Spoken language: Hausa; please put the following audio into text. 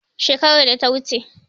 Shekarar data wuce